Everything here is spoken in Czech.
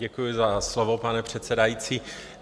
Děkuji za slovo, pane předsedající.